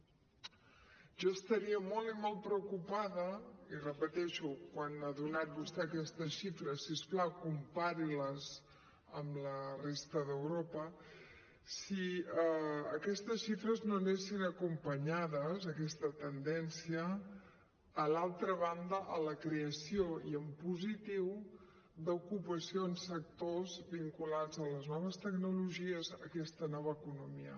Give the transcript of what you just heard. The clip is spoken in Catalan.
jo estaria molt i molt preocupada i ho repeteixo quan ha donat vostè aquestes xifres si us plau compari les amb la resta d’europa si aquestes xifres no anessin acompanyades aquesta tendència a l’altra banda amb la creació i en positiu d’ocupació en sectors vinculats a les noves tecnologies i a aquesta nova economia